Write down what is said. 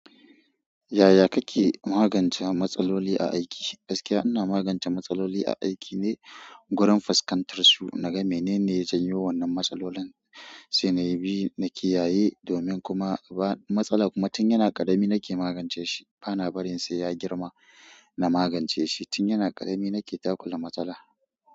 Yaya kake magance matsaloli a aiki? Gaskiya ina magance matsaloli a aiki ne, gurin fuskantar su, naga menene janyo wannan matsalolin, sai na bi na kiyaye domin kuma ba matsala kuma tun yana ƙarami nake magance shi, bana barin sai ya girma na magance shi. Tun yana ƙarami nake takula matsala.